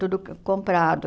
Tudo comprado.